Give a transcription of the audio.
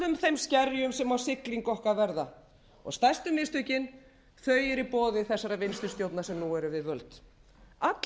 skerjum sem á siglingu okkar verða og stærstu mistökin eru í boði þessarar vinstri stjórnar sem nú er við